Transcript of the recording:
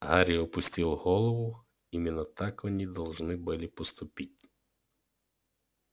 гарри опустил голову именно так они должны были поступить